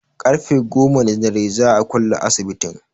Ƙarfe goma na dare za'a kulle asibitin